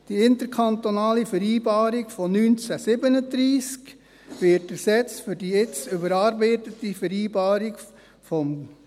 Die interkantonale Vereinbarung von 1937 wird ersetzt durch die nun überarbeitete Vereinbarung 2020.